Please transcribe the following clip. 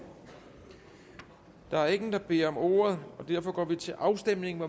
der er ingen der beder om ordet og derfor går vi til afstemning